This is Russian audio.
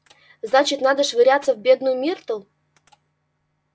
значит надо швыряться в бедную миртл